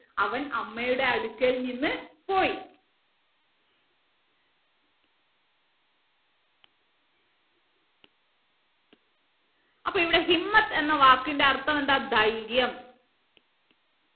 അവൻ അമ്മയുടെ അടുക്കൽ നിന്ന് പോയി അപ്പൊ ഇവിടെ എന്ന വാക്കിന്റെ അർത്ഥം എന്താ ധൈര്യം